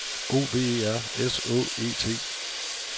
O V E R S Å E T